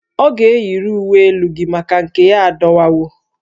Ọ ga-eyiri uwe elu gị maka na nke ya adọwawo